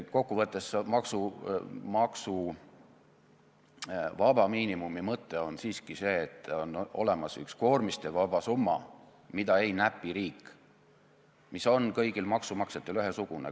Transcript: Kokkuvõttes, maksuvaba miinimumi mõte on siiski see, et on olemas üks koormistevaba summa, mida ei näpi riik ja mis on kõigil maksumaksjatel ühesugune.